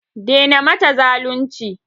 Daina mata zalunci!